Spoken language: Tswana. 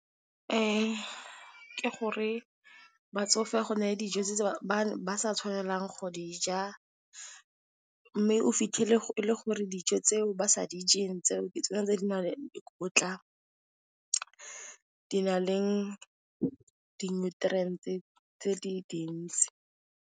Ke gore batsofe go na le dijo tse ba sa tshwanelang go di ja mme, o fitlhele e le gore dijo tseo ba sa dijeng tseo ke tsona tse di nang le dikotla, di na le di nutriantse tse di dintsi.